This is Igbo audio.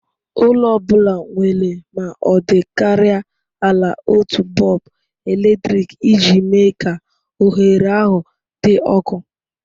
Ụlọ ọ bụla nwere ma ọ dịkarịa ala otu bọlbụ eletrik iji mee ka oghere ahụ dị ọkụ.